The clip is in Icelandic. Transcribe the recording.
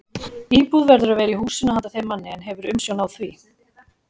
Íbúð verður að vera í húsinu handa þeim manni, er hefur umsjón á því.